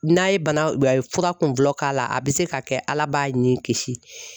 N'a ye bana fura kun fɔlɔ k'a la a bɛ se ka kɛ ala b'a ni kisi.